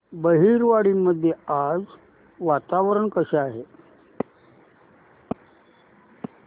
बहिरवाडी मध्ये आज वातावरण कसे आहे